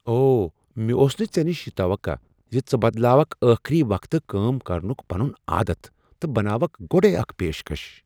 او! مےٚ اوس نہٕ ژےٚ نش یہ توقع ز ژٕ بدلاوکھ ٲخری وقتہٕ کٲم کرنک پنن عادتھ تہٕ بناوکھ گۄڑے اکھ پیشکش۔